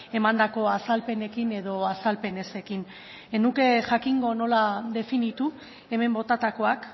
emandako azalpenekin edo azalpen ezekin ez nuke jakingo nola definitu hemen botatakoak